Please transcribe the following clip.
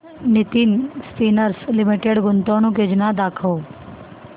Nitin spinners limited गुंतवणूक योजना दाखव